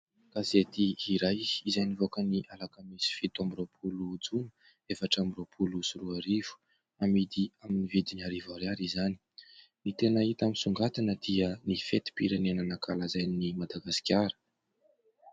Gazety iray izay nivoaka ny alakamisy, fito amby roapolo, jona, efatra amby roapolo sy roa arivo, amidy amin'ny vidiny arivo ariary izany, ny tena hita misongadina dia ny fetim-pirenena nankalazain'i Madagasikara.